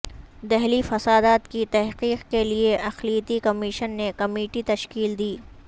دہلی فسادات کی تحقیق کے لئے اقلیتی کمیشن نے کمیٹی تشکیل دی